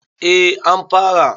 A an fara